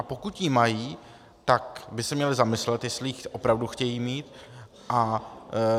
A pokud ji mají, tak by se měli zamyslet, jestli ji opravdu chtějí mít.